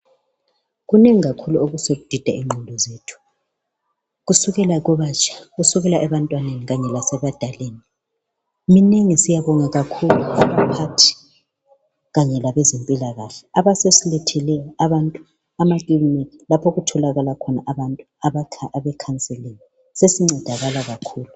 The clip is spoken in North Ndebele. Kunengi kakhulu okudida ingqondo zethu kusukela kwabatsha kusukela ebantwaneni kwanye lasebadaleni minengi syabonga kakhulu abaphathi kanye labezempilakahle asebesilethele abantu amakilinika lapho okutholakala khona abantu abakhansilini sesincedakala kakhulu.